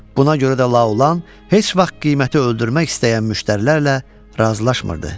Buna görə də La Olan heç vaxt qiyməti öldürmək istəyən müştərilərlə razılaşmırdı.